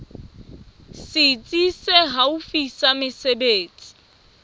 setsi se haufi sa mesebetsi